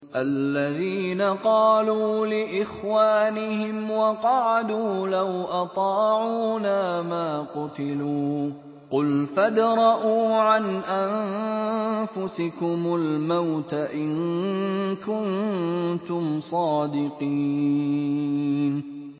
الَّذِينَ قَالُوا لِإِخْوَانِهِمْ وَقَعَدُوا لَوْ أَطَاعُونَا مَا قُتِلُوا ۗ قُلْ فَادْرَءُوا عَنْ أَنفُسِكُمُ الْمَوْتَ إِن كُنتُمْ صَادِقِينَ